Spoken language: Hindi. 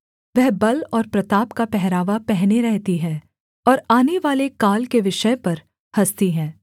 वह बल और प्रताप का पहरावा पहने रहती है और आनेवाले काल के विषय पर हँसती है